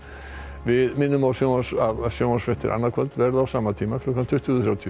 við minnum á að sjónvarpsfréttir að sjónvarpsfréttir annað kvöld verða á sama tíma klukkan tuttugu þrjátíu